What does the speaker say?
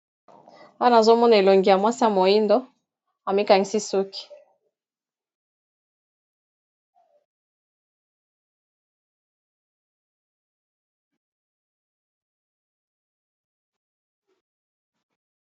wana nazomona elongi ya mwasi ya moindo bakangi suki na ye kitoko.